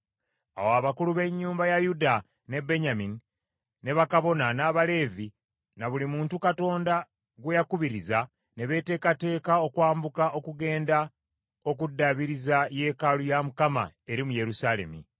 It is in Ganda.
Awo abakulu b’ennyumba za Yuda ne Benyamini, ne bakabona, n’Abaleevi, na buli muntu Katonda gwe yakubiriza, ne beeteekateeka okwambuka okugenda okuddaabiriza yeekaalu ya Mukama eri mu Yerusaalemi .